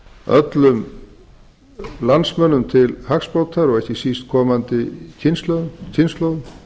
öllum landsmönnum til hagsbóta og ekki síst komandi kynslóðum